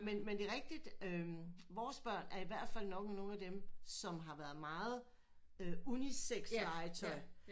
Men men det er rigtigt øh vores børn er i hvert fald nok nogle af dem som har været meget øh unisex legetøj